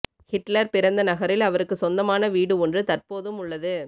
Hitler பிறந்த நகரில் அவருக்கு சொந்தமான வீடு ஒன்று தற்போதும் உள்ளது